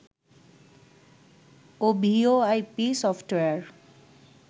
O VoIP software